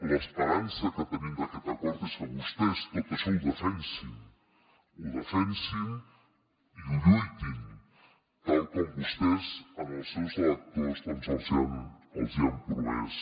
l’esperança que tenim d’aquest acord és que vostès tot això ho defensin ho defensin i hi lluitin tal com vostès als seus electors doncs els han promès